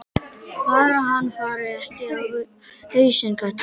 Bara hann fari ekki á hausinn, karlinn.